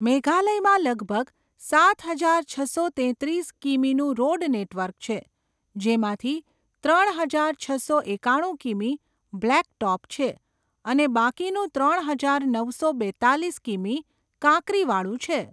મેઘાલયમાં લગભગ સાત હજાર છસો તેત્રીસ કિમીનું રોડ નેટવર્ક છે, જેમાંથી ત્રણ હજાર છસો એકાણું કિમી બ્લેક ટોપ છે અને બાકીનું ત્રણ હજાર નવસો બેત્તાલીસ કિમી કાંકરીવાળું છે.